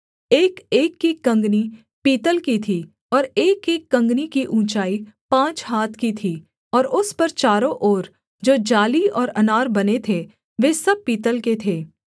एकएक की कँगनी पीतल की थी और एकएक कँगनी की ऊँचाई पाँच हाथ की थी और उस पर चारों ओर जो जाली और अनार बने थे वे सब पीतल के थे